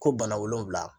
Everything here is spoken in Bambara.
Ko bana wolonfila